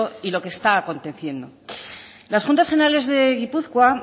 y lo que está aconteciendo las juntas generales de gipuzkoa